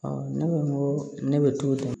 ne ko n ko ne bɛ t'o la dɛ